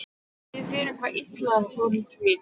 Líður þér eitthvað illa Þórhildur mín?